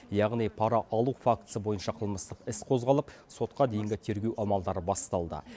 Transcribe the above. яғни пара алу фактісі бойынша қылмыстық іс қозғалып сотқа дейінгі тергеу амалдары басталды